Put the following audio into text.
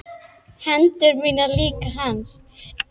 Hendur mínar líka hans.